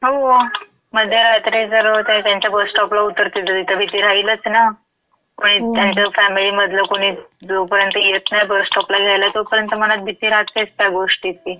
हो. मध्यरात्री जर ते त्यांच्या बस स्टॉपला उतरतील तं तिथं भीती राहीलचं ना. कुणी, त्यांचं फॅमिलीमधलं कुणी जोपर्यंत येत नाही बस स्टॉपला घ्यायला तोपर्यंत मनात भीती राहतेच गोष्टीची. हो.